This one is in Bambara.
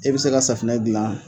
E bɛ se ka safinɛ dilan